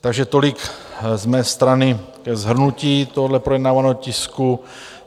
Takže tolik z mé strany ke shrnutí tohoto projednávaného tisku.